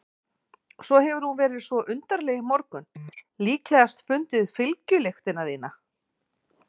Svo hefur hún verið svo undarleg í morgun, líklegast fundið fylgjulyktina þína.